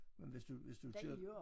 Men hvis du hvis du kører